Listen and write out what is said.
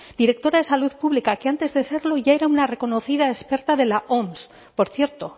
directora de salud pública que antes de serlo ya era una reconocida experta de la oms por cierto